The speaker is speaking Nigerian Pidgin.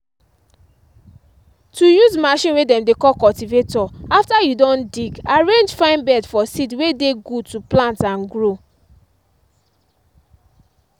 to use machine way dem dey call cultivator after you don dig arrange fine bed for seed way dey good to plant and grow.